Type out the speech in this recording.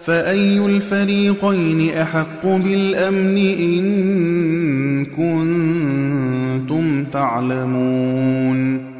فَأَيُّ الْفَرِيقَيْنِ أَحَقُّ بِالْأَمْنِ ۖ إِن كُنتُمْ تَعْلَمُونَ